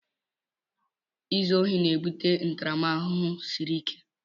Izu ohi na-ebute ntaramahụhụ siri ike.